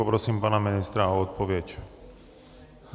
Poprosím pana ministra o odpověď.